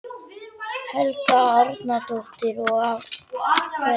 Helga Arnardóttir: Og af hverju?